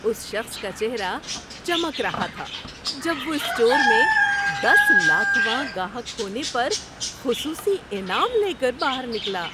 اس شخص کا چہرہ چمک رہا تھا جب وہ اسٹور میں دس لاکھ واں گاہک ہونے پر خصوصی انعام لے کر باہر نکلا۔